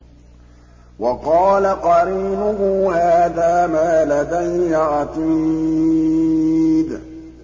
وَقَالَ قَرِينُهُ هَٰذَا مَا لَدَيَّ عَتِيدٌ